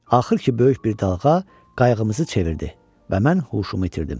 Axır ki, böyük bir dalğa qayığımızı çevirdi və mən huşumu itirdim.